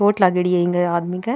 चोट लागेड़ी है इंग आदमी के।